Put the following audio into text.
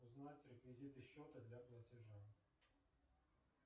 узнать реквизиты счета для платежа